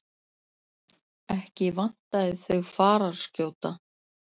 Ekki vantaði þau fararskjóta.